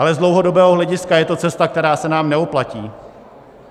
Ale z dlouhodobého hlediska je to cesta, která se nám nevyplatí.